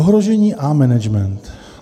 Ohrožení a management.